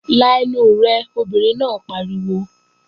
La ẹnu rẹ, obìnrin náà pariwo!